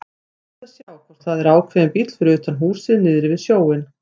Rétt að sjá hvort það er ákveðinn bíll fyrir utan húsið niðri við sjóinn.